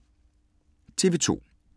TV 2